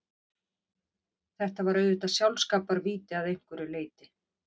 Þetta var auðvitað sjálfskaparvíti að einhverju leyti.